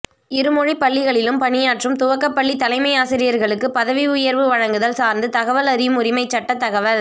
இருமொழி பள்ளிகளில் பணியாற்றும் துவக்கப்பள்ளி தலைமை ஆசிரியர்களுக்கு பதவி உயர்வு வழங்குதல் சார்ந்து தகவல் அறியும் உரிமை சட்ட தகவல்